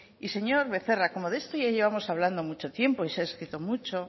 y señor becerra como de esto ya llevamos hablando mucho tiempo y se ha escrito mucho